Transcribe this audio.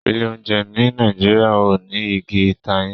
Ilé oúnjẹ ní Nàìjíríà o ní Ìgi ìtayín.